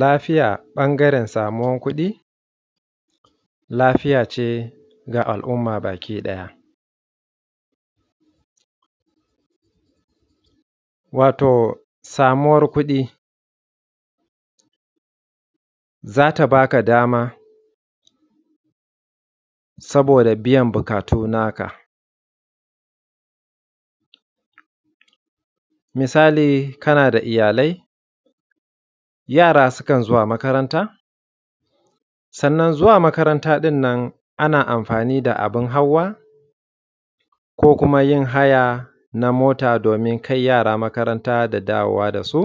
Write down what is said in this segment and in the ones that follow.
Lafiya ɓangaren samuwan kuɗi. Lafiya ce da al'umma gabaki ɗaya wato samuwar kuɗi za ta ba ka dama saboda biyan buƙatu na ka. Misali kana da iyalai, yara sukan zuwa makaranta, sannan zuwa makaranta ɗan nan ana amfani da abun hawa ko kuma yin haya na mota domin kai yara makaranta da dawowa da su.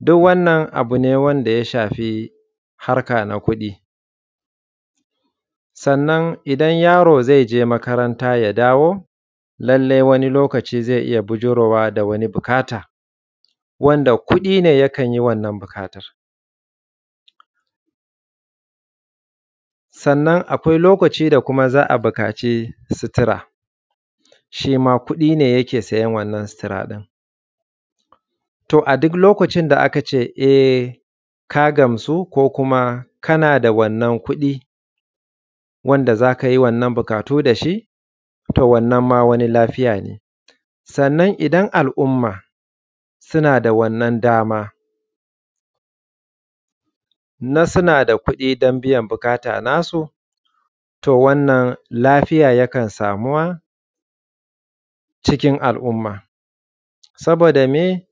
Duk wannan abu ne wanda ya shafi harka na kuɗi. Sannan idan yaro zai je makaranta ya dawo lallai wani lokacin zai iya bijirowa da wani buƙata wanda kuɗi ne ya kanyi wannan buƙatan. Sannan akwai lokaci da kuma za a buƙaci sutura, shi ma kuɗi ne ya siyan wannan sutura ɗin. A duk lokacin da aka ce e ka gamsu ko kuma kana da wannan kuɗi wanda za ka yi wannan buƙatu da shi. To wannan ma wani lafiya ne, sannan idan al'umma suna da wannan dama na suna da kuɗi na biyan buƙata na su, to wannan lafiya yakan samuwa cikin al'umma saboda miye?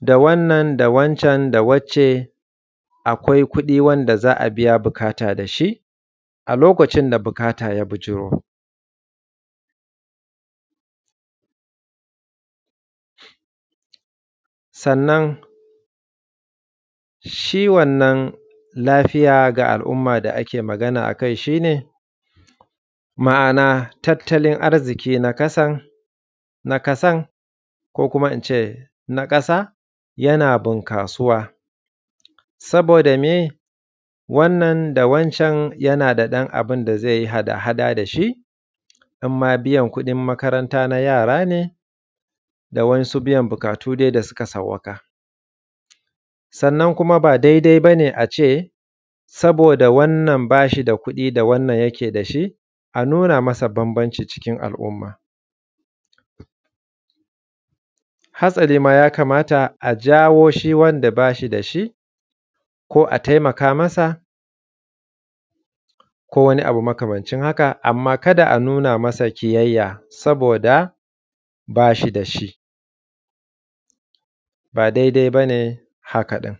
Da wannan wancan da wancan akwai kuɗi wanda za a biya buƙata da shi, a lokacin da buƙata ya bijiro. Sannan shi wannan lafiya ga al'umma da ake magana a kai shi ne ma'ana taltalin arziki na ƙasan ko kuma in ce na ƙasa yana bunƙasuwa, saboda miye? Da wannan da wancan yana da ɗan abun da zai yi hada hada da shi, imma biyan kuɗin makaranta na yara ne da wasu biyan buƙatu da suka sauwaƙa. Sannan kuma ba daidai bane a ce saboda wannan ba shi da kuɗi da wannan yake da shi a nuna masa bambanci a cikin al'umma. Hasali ma ya kamata a jawo shi wanda ba shi da shi ko a taimaka masa, ko wani abu makamancin haka. Amma kada a nuna masa ƙiyayyya saboda ba shi da shi ba daidai bane haka ɗin.